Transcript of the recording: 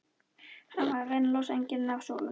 Hann var að reyna að losa engilinn af súlunni!